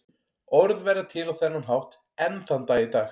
Orð verða til á þennan hátt enn þann dag í dag.